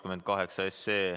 Head päeva!